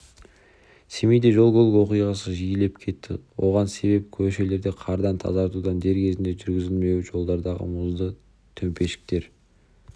семейде жол-көлік оқиғасы жиілеп кетті оған себеп көшелерді қардан тазартудың дер кезінде жүргізілмеуі жолдардағы мұзды төмпешіктер